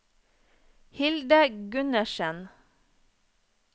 Hilde Gundersen